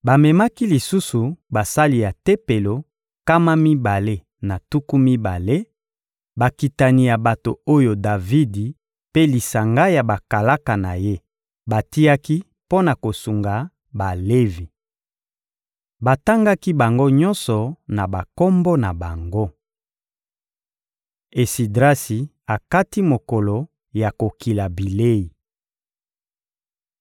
Bamemaki lisusu basali ya Tempelo, nkama mibale na tuku mibale, bakitani ya bato oyo Davidi mpe lisanga ya bakalaka na ye batiaki mpo na kosunga Balevi. Batangaki bango nyonso na bakombo na bango. Esidrasi akati mokolo ya kokila bilei